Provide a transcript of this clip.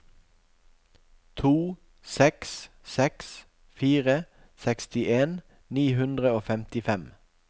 to seks seks fire sekstien ni hundre og femtifem